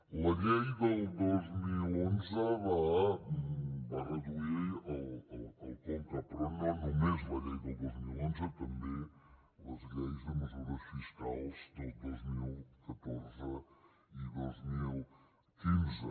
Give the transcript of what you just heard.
la llei del dos mil onze va reduir el conca però no només la llei del dos mil onze també les lleis de mesures fiscals del dos mil catorze i dos mil quinze